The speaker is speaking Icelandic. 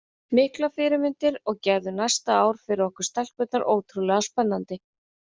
Miklar fyrirmyndir og gerðu næsta ár fyrir okkur stelpurnar ótrúlega spennandi.